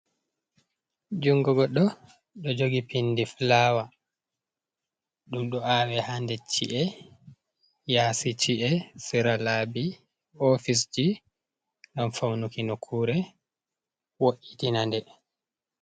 Jungo godɗo ɗo jogi pindi fulawa, ɗum ɗo awe ha nder chi’e, yasi chi’e, sera labi, ofisji ngam faunuki nokkure wo’’itina nde.